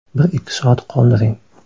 Bir-ikki soat qoldiring.